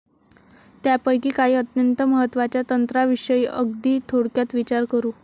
त्यापैकी काही अत्यंत महत्वाच्या तंत्राविषयी अगदी थोडक्यात विचार करू.